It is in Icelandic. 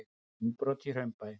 Innbrot í Hraunbæ